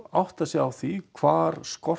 átta sig á því hvar skortir